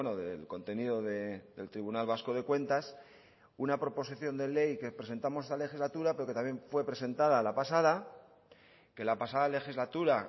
del contenido del tribunal vasco de cuentas una proposición de ley que presentamos esta legislatura pero que también fue presentada la pasada que la pasada legislatura